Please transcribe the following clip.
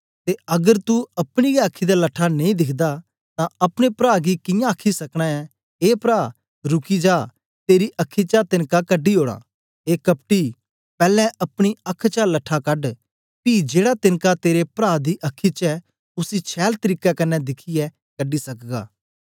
ते अगर तू अपनी गै अखी दा लट्ठा नेई दिखदा तां अपने प्रा गी कियां आखी सकना ऐ ए परा रुकी जा तेरी अखी चा तेनका कढी ओड़ा ए कपटी पैलैं अपनी अख चा लट्ठा कड़ पी जेड़ा तेनका तेरे प्रा दी अखी च ऐ उसी छैल तरीके कन्ने दिखियै कढी सकगा